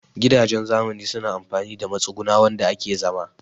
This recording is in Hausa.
Gidaje na zamani suna amfani da matsuguna wanda ake zama